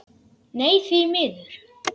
Nei, því miður.